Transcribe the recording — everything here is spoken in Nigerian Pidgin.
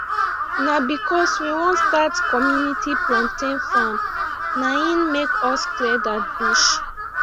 na because we won start community plantian farm na hin make us clear that bush